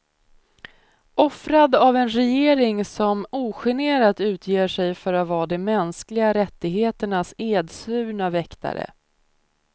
Offrad av en regering som ogenerat utger sig för att vara de mänskliga rättigheternas edsvurna väktare.